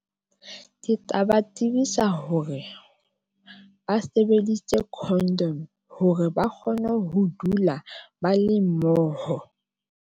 Ke tla ba tsebisa hore ba sebedisitse condom hore ba kgone ho dula ba le mmoho.